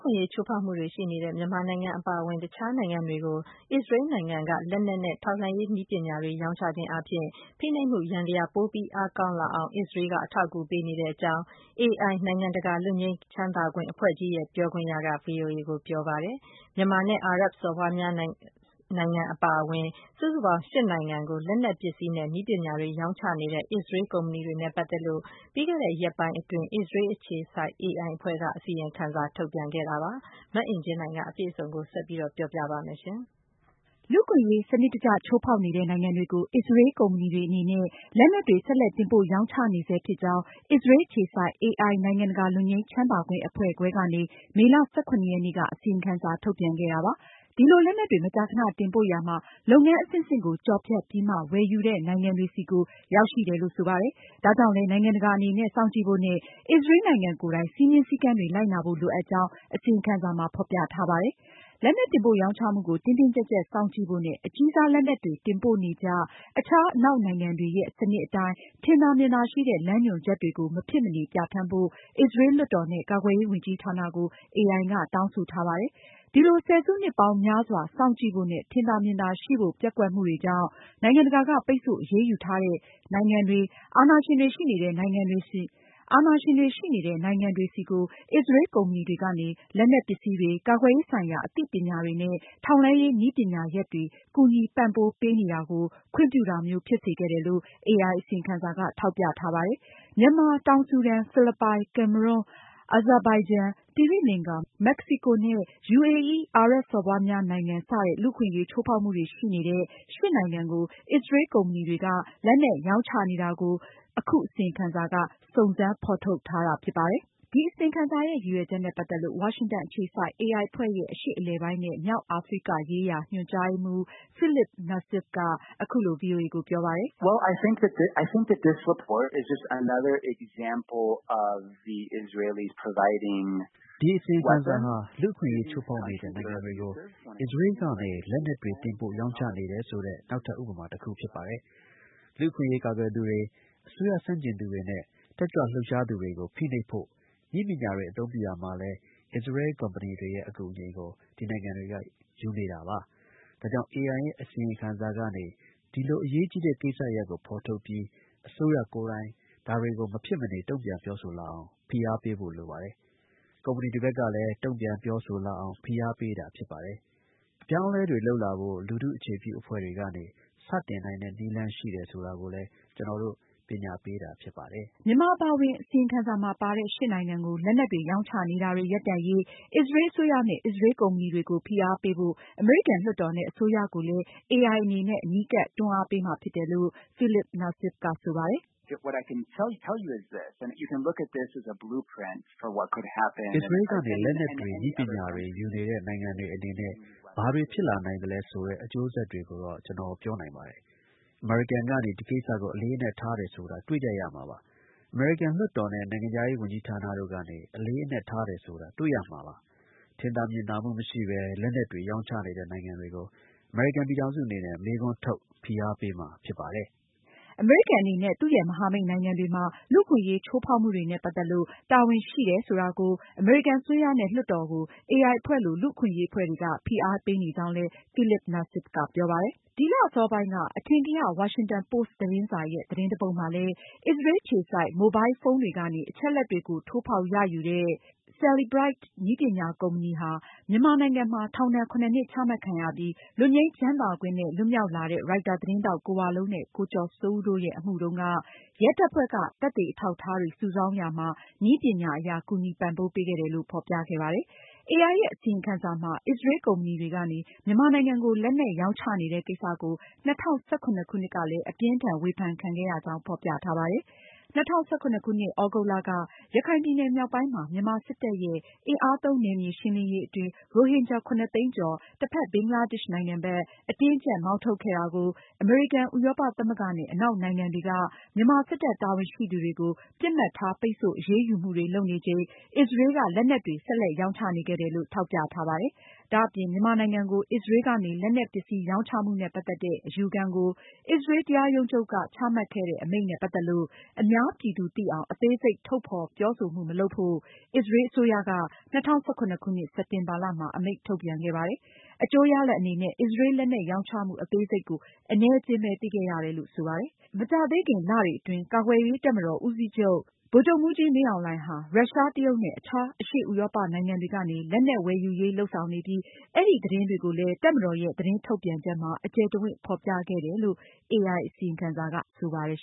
ခွင့်အရေးချိုးဖောက်မှုတွေရှိနေတဲ့ မြန်မာအပါအဝင် အခြားနိုင်ငံတွေကို အစ္စရေးကနေ လက်နက်နဲ့ ထောက်လှမ်းရေးနည်းပညာတွေ ရောင်းချခြင်းအားဖြင့် ဖိနှိပ်မှုယန္တရား ပိုပြီးအားကောင်းအောင် အထောက်အကူပေးနေကြောင်း AI နိုင်ငံတကာ လွတ်ငြိမ်းချမ်းသာခွင့် အဖွဲ့ကြီးရဲ့ ပြောခွင့်ရက ဗွီအိုအေကိုပြောပါတယ်။ မြန်မာနဲ့ အာရပ်စော်ဘွား များနိုင်ငံအပါအဝင် စုစုပေါင်း ၈ နိုင်ငံကို လက်နက်ပစ္စည်းနဲ့ နည်းပညာတွေ ရောင်းချနေတဲ့ အစ္စရေးကုမ္ပဏီတွေနဲ့ ပတ်သက်လို့ အစ္စရေးအခြေစိုက် AI အဖွဲ့ကနေ ပြီးခဲ့တဲ့ ရက်ပိုင်းအတွင်း အစီရင်ခံစာ ထုတ်ပြန်ခဲ့တာပါ။ မအင်ကြင်းနိုင်က အပြည့်အစုံကို တင်ဆက်မှာပါ။ လူ့အခွင့်အရေး စနစ်တကျ ချိုးဖောက်နေတဲ့နိုင်ငံတွေကို အစ္စရေးကုမ္ပဏီတွေအနေနဲ့ လက်နက်တွေ ဆက်လက်တင်ပို့ ရောင်းချနေဆဲဖြစ်ကြောင်း အစ္စရေး အခြေစိုက် AI နိုင်ငံတကာ လွတ်ငြိမ်းချမ်းသာခွင့်အဖွဲ့ ခွဲကနေ မေလ (၁၇)ရက်နေ့က အစီရင်ခံစာ ထုတ်ပြန်လိုက်ပါတယ်။ ဒီလို လက်နက်တွေ မကြာခဏ တင်ပို့ရာမှာ လုပ်ငန်းအဆင့်ဆင့်ကို ကျော်ဖြတ်ပြီးမှ ဝယ်ယူတဲ့ နိုင်ငံတွေဆီကို ရောက်ရှိတယ်လို့ ဆိုပါတယ်။ ဒါကြောင့်လည်း နိုင်ငံတကာအနေနဲ့ စောင့်ကြည့်ဖို့နဲ့ အစ္စရေးနိုင်ငံကိုယ်တိုင် စည်းမျဉ်းစည်းကမ်းတွေ လိုက်နာဖို့ လိုအပ်ကြောင်း အစီရင်ခံစာမှာ ဖေါ်ပြထားပါတယ်။ လက်နက် တင်ပို့ ရောင်းချမှုကို တင်းတင်းကျပ်ကျပ် စောင့်ကြည့်ဖို့နဲ့ အကြီးစားလက်နက်တွေ တင်ပို့နေကျ အခြားအနောက်နိုင်ငံတွေရဲ့ စနစ်အတိုင်း ထင်သာမြင်သာရှိတဲ့ လမ်းညွှွန်ချက်တွေကို မဖြစ်မနေ ပြဌာန်းဖို့ အစ္စရေး လွှတ်တော်နဲ့ ကာကွယ်ရေးဝန်ကြီးဌာနကို AI ကတောင်းဆိုထား ပါတယ်။ ဒီလို ဆယ်စုနှစ်ပေါင်းများစွာ စောင့်ကြည့်ဖို့နဲ့ ထင်သာမြင်သာရှိဖို့ ပျက်ကွက်မှုတွေကြောင့် နိုင်ငံတကာက ပိတ်ဆို့အရေးယူထားတဲ့ နိုင်ငံတွေ၊ အာဏာရှင်တွေရှိနေတဲ့နိုင်ငံတွေဆီကို အစ္စရေးကုမ္ပဏီတွေကနေ လက်နက်ပစ္စည်းတွေ၊ ကာကွယ်ရေးဆိုင်ရာ အသိပညာတွေနဲ့ ထောက်လှမ်းရေး နည်းပညာရပ်တွေ ကူညီပံပိုးနေတာကို ခွင့်ပြုတာမျိုး ဖြစ်စေခဲ့တယ်လို့ AI အစီရင်ခံစာက ထောက်ပြထားပါတယ်။ မြန်မာ၊ တောင် ဆူဒန်၊ ဖိလစ်ပိုင်၊ ကင်မရွန်၊ အာဇန်ဘိုင်ဂျန်၊ သိရီလင်္ကာ၊ မက္ကစီကိုနဲ့ UAE အာရပ်စော်ဘွားများနိုင်ငံ စတဲ့ လူ့အခွင့်အရေးချိုးဖောက်မှုတွေရှိနေတဲ့ ၈ နိုင်ငံကို အစ္စရေး ကုမ္ပဏီတွေက လက်နက်ရောင်းချနေတာကို အခု အစီရင်ခံစာက စုံစမ်းဖေါ်ထုတ်ထားတာဖြစ်ပါတယ်။ ဒီအစီရင်ခံစာရဲ့ ရည်ရွယ်ချက်နဲ့ပတ်သက်လို့ ဝါရှင်တန်အခြေစိုက် AI အဖွဲ့ရဲ့ အရှေ့အလယ်ပိုင်းနဲ့ မြောက် အာဖရိက ရေးရာ ညွန်ကြားရေးမှူး Philippe Nassif က အခုလို ဗွီအိုအေကို ပြောပါတယ်။ "ဒီ အစီရင်ခံစာဟာ လူ့အခွင့်အရေးချိုးဖောက်နေတဲ့ နိုင်ငံတွေကို အစ္စရေးကနေ လက်နက်တွေ တင်ပို့ရောင်းချနေတယ်ဆိုတဲ့ နောက်ထပ် ဥပမာ တခုဖြစ်ပါတယ်။ လူ့အခွင့်အရေးကာကွယ်သူတွေ၊ အစိုးရဆန့်ကျင်သူတွေနဲ့ တက်ကြွ လှုပ်ရှားသူတွေကို ဖိနှိပ်ဖို့ နည်းပညာတွေအသုံးပြုရာမှာလည်း အစ္စရေးကုမ္ပဏီတွေရဲ့ အကူအညီကို ဒီနိုင်ငံတွေက ယူနေတာပါ။ ဒါကြောင့် AI ရဲ့ အစီရင်ခံစာကနေ ဒီလို အန္တရာယ်ကြီးတဲ့ ကိစ္စရပ်ကို ဖေါ်ထုတ်ပြီး အစိုးရကိုယ်တိုင် ဒါတွေကို မဖြစ်မနေ တုန့်ပြန်ပြောဆိုလာအောင် ဖိအားပေးဖို့ ဖြစ်ပါတယ်။ ကုမ္ပဏီတွေဘက်ကလည်း တုန့်ပြန်ပြောဆို လာအောင် ဖိအားပေးတာဖြစ်ပါတယ်။ အပြောင်းအလဲတွေ လုပ်လာဖို့ လူထု အခြေပြုအဖွဲ့တွေကနေ စတင်နိုင်တဲ့ နည်းလမ်းရှိတယ်ဆိုတာကိုလည်း ကျနော်တို့ ပညာပေးတာဖြစ်ပါတယ်။" မြန်မာအပါအဝင် အစီရင်ခံစာမှာ ပါတဲ့ ၈ ရှစ်နိုင်ငံကို လက်နက်တွေ ရောင်းချနေတာတွေ ရပ်တန့်ရေး အစ္စရေး အစိုးရနဲ့ အစ္စရေး ကုမ္ပဏီတွေကို ဖိအားပေးဖို့ အမေရိကန်လွှတ်တော်နဲ့ အစိုးရကိုလည်း AI အနေနဲ့ အနီးကပ် တွန်းအားပေးမှာဖြစ်တယ်လို့ Philippe Nassif က ဆိုပါတယ်။ "အစ္စရေးကနေ လက်နက်တွေ၊ နည်းပညာတွေ ယူနေတဲ့ နိုင်ငံတွေ အနေနဲ့ ဘာတွေ ဖြစ်လာနိုင်သလဲဆိုတဲ့ အကျိုးဆက်တွေကိုတော့ ကျနော် ပြောနိုင်ပါတယ်။ အမေရိကန်ကနေ ဒီကိစ္စကို အလေးအနက်ထားတယ်ဆိုတာ တွေ့ကြရမှာပါ။ အမေရိကန်လွှတ်တော်နဲ့ နိုင်ငံခြားရေးဌာနတို့ကနေ အလေးအနက်ထားတယ်ဆိုတာ တွေ့ရမှာပါ။ ထင်သာမြင်သာမှုမရှိပဲ လက်နက်တွေ ရောင်းချနေတဲ့ နိုင်ငံတွေကို အမေရိကန်ပြည်ထောင်စုအနေနဲ့ မေးခွန်းထုတ် ဖိအားပေးမှာဖြစ်ပါတယ်။" အမေရိကန်အနေနဲ့ သူရဲ့ မဟာမိတ်နိုင်ငံတွေမှာ လူ့အခွင့်အရေးချိုးဖောက်မှုတွေနဲ့ ပတ်သက်လို့ တာဝန်ရှိတယ်ဆိုတာကို အမေရိကန်အစိုးရနဲ့ လွှတ်တော်ကို AI အဖွဲ့လို လူ့အခွင့်အရေးအဖွဲ့တွေက ဖိအားပေးနေကြောင်း Philippe Nassif ကပြောပါတယ်။ ဒီလ အစောပိုင်းက အထင်ကရ ဝါရှင်တန်ပို့စ်သတင်းစာရဲ့ သတင်းတပုဒ်မှာလည်း- အစ္စရေး အခြေစိုက် မိုဘိုင်လ်ဖုန်းတွေကနေ အချက်အလက်တွေကို ထိုးဖောက်ရယူတဲ့ Cellebrite နည်းပညာကုမ္ပဏီဟာ မြန်မာနိုင်ငံမှာ ထောင်ဒဏ် ၇ နှစ်ချမှတ်ခံရပြီး လွတ်ငြိမ်းချမ်းသာခွင့်နဲ့ လွှတ်မြောက်လာတဲ့ ရိုက်တာ သတင်းထောက် ကိုဝလုံးနဲ့ ကိုကျော်စိုးဦးတို့ ရဲ့ အမှုတုန်းက ရဲတပ်ဖွဲ့က သက်သေအထောက်အထားတွေ စုဆောင်းရာမှာ နည်းပညာအရ ကူညီပံ့ပိုးပေးခဲ့တယ်လို့ ဖေါ်ပြခဲ့ပါတယ်။ AI ရဲ့ အစီရင်ခံစာမှာ အစ္စရေး ကုမ္ပဏီတွေကနေ မြန်မာနိုင်ငံကို လက်နက်ရောင်းချနေတဲ့ ကိစ္စ ကို ၂၀၁၇ ခုနှစ်ကလည်း အပြင်းအထန် ဝေဖန်ခံခဲ့ရကြောင်း ဖေါ်ပြထားပါတယ်။ ၂၀၁၇ခုနှစ် သြဂုတ်လက ရခိုင်ပြည်နယ်မြောက်ပိုင်းမှာ မြန်မာစစ်တပ်ရဲ့ အင်အားသုံး နယ်မြေရှင်းလင်းရေး အတွင်း ရိုဟင်ဂျာ ၇၀၀,၀၀၀ သိန်းကျော် တဖက် ဘင်္ဂလားဒေ့ရှ် နိုင်ငံဘက် အတင်းအကျပ် မောင်းထုတ်ခဲ့တာကို အမေရိကန်၊ ဥရောပသမဂ္ဂနဲ့ အနောက်နိုင်ငံတွေကနေ မြန်မာစစ်တပ် တာဝန်ရှိသူတွေကို ပစ်မှတ်ထား ပိတ်ဆို့အရေးယူမှုတွေ လုပ်နေချိန်မှာ အစ္စရေးက လက်နက်တွေ ဆက်လက်ရောင်းချ နေခဲ့တယ်လို့ ထောက်ပြထားပါတယ်။ ဒါအပြင် မြန်မာနိုင်ငံကို အစ္စရေးကနေ လက်နက်ပစ္စည်းရောင်းချမှုနဲ့ ပတ်သက်တဲ့ အယူခံကို အစ္စရေး တရားရုံးချုပ်က ချမှတ်ခဲ့တဲ့ အမိန့်နဲ့ ပတ်သက်လို့ အများပြည်သူသိအောင် အသေးစိတ် ထုတ်ဖေါ်ပြောဆိုမှု မလုပ်ဖို့ အစ္စရေး အစိုးရက ၂၀၁၇ စက်တင်ဘာလမှာ အမိန့် ထုတ်ပြန်ခဲ့ပါတယ်။ အကျိူးရလဒ်အနေနဲ့ အစ္စရေး လက်နက်ရောင်းချမှု အသေးစိတ်ကို အနည်းအကျဉ်းပဲ သိခဲ့ရတယ်လို့ ဆိုပါတယ်။ မကြာသေးခင်လတွေအတွင်း ကာကွယ်ရေးတပ်မတော် ဦးစီးချုပ် ဗိုလ်ချုပ်မှူးကြီး မင်းအောင်လှိုင်ဟာ ရုရှား၊ တရုတ်နဲ့ အခြားအရှေ့ဥရောပနိုင်ငံတွေကနေ လက်နက်ဝယ်ယူရေး လုပ်ဆောင်နေပြီး အဲဒီ သတင်းတွေကိုလည်း တပ်မတော်ရဲ့ သတင်းထုတ်ပြန်ချက်မှာ အကျယ်တဝန့်ဖေါ်ပြခဲ့တယ်လို့ AI အစီရင်ခံစာက ဆိုပါတယ်